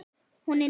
Hún er ný.